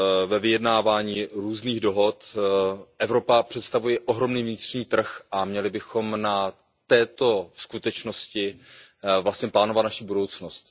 Ve vyjednávání různých dohod Evropa představuje ohromný vnitřní trh a měli bychom na této skutečnosti vlastně plánovat naši budoucnost.